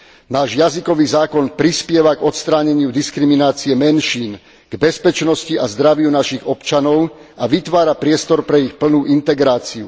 Náš jazykový zákon prispieva k odstráneniu diskriminácie menšín, k bezpečnosti a zdraviu našich občanov a vytvára priestor pre ich plnú integráciu.